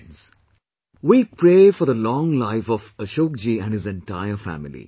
Friends, we pray for the long life of Ashok ji and his entire family